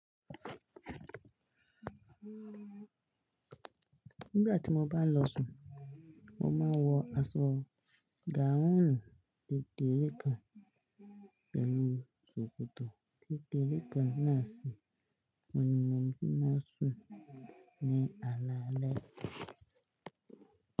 Nígbà tí mo bá ń lọ sùn, mo máa ń wọ aṣọ gáhùn kekere kan pẹ̀lú ṣòkòtò kekere kan náà sì n bí mo ṣe máa sùn ní alaálẹ́.